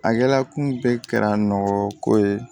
A kɛla kun bɛɛ kɛra nɔgɔ ko ye